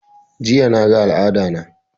Jiya na ga al'ada na